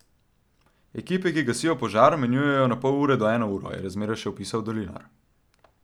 Ekipe, ki gasijo požar, menjujejo na pol ure do eno uro, je razmere še opisal Dolinar.